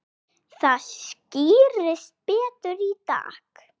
Það skýrist betur í dag.